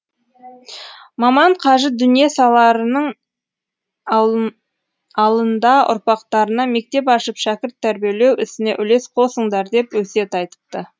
маман қажы дүние саларының алында ұрпақтарына мектеп ашып шәкірт тәрбиелеу ісіне үлес қосыңдар деп өсиет айтыпты